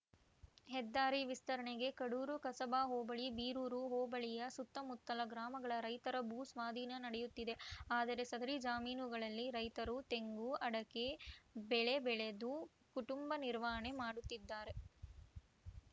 ಹೆದ್ದಾರಿ ವಿಸ್ತರಣೆಗೆ ಕಡೂರು ಕಸಬಾ ಹೋಬಳಿ ಬೀರೂರು ಹೋಬಳಿಯ ಸುತ್ತಮುತ್ತಲ ಗ್ರಾಮಗಳ ರೈತರ ಭೂ ಸ್ವಾಧೀನ ನಡೆಯುತ್ತಿದೆ ಆದರೆ ಸದರಿ ಜಮೀನುಗಳಲ್ಲಿ ರೈತರು ತೆಂಗು ಅಡಕೆ ಬೆಳೆ ಬೆಳೆದು ಕುಟುಂಬ ನಿರ್ವಹಣೆ ಮಾಡುತ್ತಿದ್ದಾರೆ